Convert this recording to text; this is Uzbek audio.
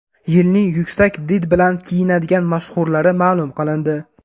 Yilning yuksak did bilan kiyinadigan mashhurlari ma’lum qilindi.